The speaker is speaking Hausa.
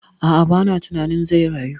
A'a, ba na tunanin zai rayu